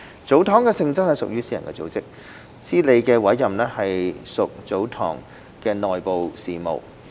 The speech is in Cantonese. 祖堂的性質屬私人組織，司理的委任屬祖堂的內部事務。